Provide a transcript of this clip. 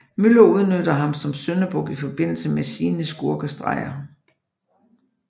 Müller udnytter ham som syndebuk i forbindelse med sine skurkestreger